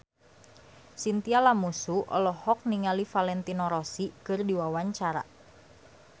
Chintya Lamusu olohok ningali Valentino Rossi keur diwawancara